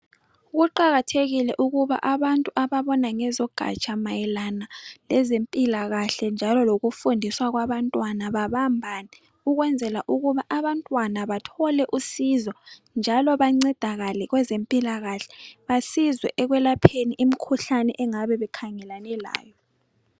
Kuqakathekile ukuba abantu ababona ngezeganja mayelana lezempila kahle njolo ngokufundisa kwabantwana babambane ukwezela ukuba abantwana bathole usizo njalo bancedakale kweze mpila kahle basizwe ekwelapheni imikhuhlane engabe bekhangelane layo